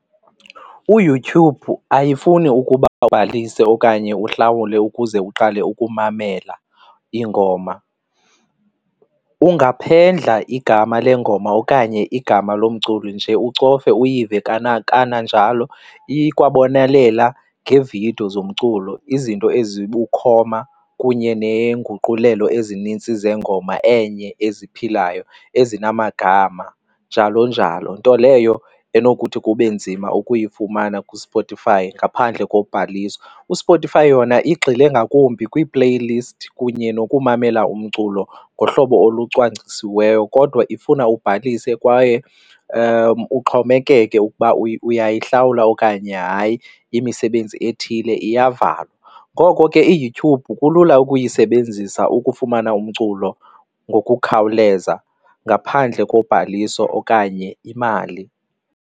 UYouYube ayifuni ukuba ibhalise okanye uhlawule ukuze uqale ukumamela iingoma, ungaphendla igama lengoma okanye igama lomculi nje ucofe uyive. Kananjalo ikwabonelela ngeevidiyo zomculo izinto ezikukhoma kunye neenguqulelo ezinintsi zengoma enye eziphilayo ezinamagama, njalo njalo, nto leyo enokuthi kube nzima ukuyifumana kuSpotify ngaphandle kokubhaliswa. USpotify yona igxile ngakumbi kwii-playlist kunye nokumamela umculo ngohlobo olucwangcisiweyo kodwa ifuna ubhalise kwaye uxhomekeke ukuba uyihlawula okanye hayi, imisebenzi ethile iyavalelwa. Ngoko ke iYouTube kulula ukuyisebenzisa ukufumana umculo ngokukhawuleza ngaphandle kobhaliso okanye imali.